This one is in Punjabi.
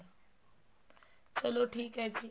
ਚਲੋ ਠੀਕ ਹੈ ਜੀ